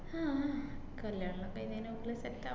ഹാ കല്യാണെല്ലാം കഴിഞ്ഞു കഴിഞ്ഞേനാ ഓള് set ആ~